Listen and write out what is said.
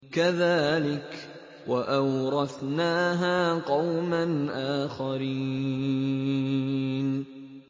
كَذَٰلِكَ ۖ وَأَوْرَثْنَاهَا قَوْمًا آخَرِينَ